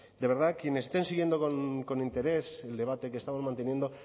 de verdad quienes estén siguiendo con interés el debate que estamos manteniendo